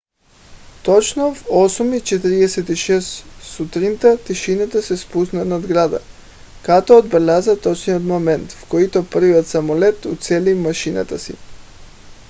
точно в 8:46 сутринта тишина се спусна над града като отбеляза точния момент в който първият самолет уцели мишената си